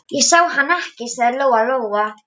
Ég sá hann ekki, sagði Lóa-Lóa.